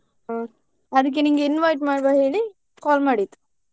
ಹ್ಮ್ ಅದ್ಕೆ ನಿಂಗೆ invite ಮಾಡುವ ಹೇಳಿ call ಮಾಡಿದ್ದು.